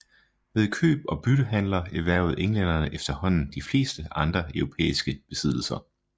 Ved køb og byttehandler erhvervede englænderne efterhånden de fleste andre europæiske besiddelser